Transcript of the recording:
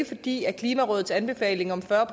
fordi klimarådets anbefaling om fyrre